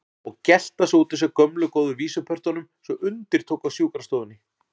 Og gelta svo út úr sér gömlu góðu vísupörtunum svo undir tók á sjúkrastofunni.